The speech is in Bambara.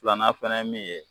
Filanan fana ye min ye.